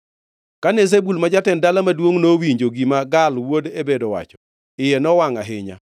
Kane Zebul ma jatend dala maduongʼno nowinjo gima Gaal wuod Ebed owacho, iye nowangʼ ahinya.